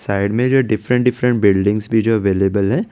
Side में जो different different buildings पे जो अवेलेबल है ।